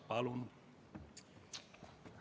Palun!